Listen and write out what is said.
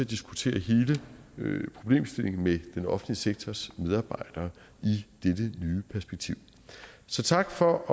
diskutere hele problemstillingen med den offentlige sektors medarbejdere i perspektiv så tak for